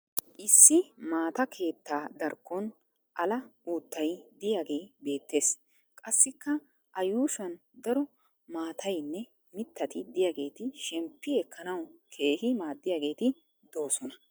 Issi maata keettaa darkkon ala uuttay diyagee beettes. Qassikka a yuushuwan daro maatayinne mittati diyageeti shemppi ekkanawu keehi maaddiyageeti doosona.